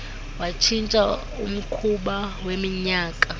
watshintsha umkhuba weminyaka